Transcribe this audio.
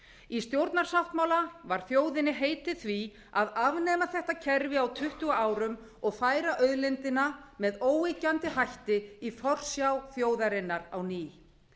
í stjórnarsáttmála var þjóðinni heitið því að afnema þetta kerfi á tuttugu árum og færa auðlindina með óyggjandi hætti í forsjá þjóðarinnar á ný